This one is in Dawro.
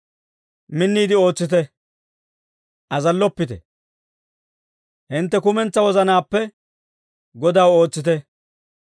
Minniide ootsite; azalloppite; hintte kumentsaa wozanaappe Godaw ootsite.